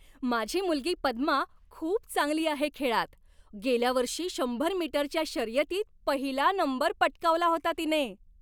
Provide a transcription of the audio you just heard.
माझी मुलगी पद्मा खूप चांगली आहे खेळात. गेल्या वर्षी शंभर मीटरच्या शर्यतीत पहिला नंबर पटकावला होता तिने.